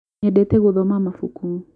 nyendete guthoma mabuku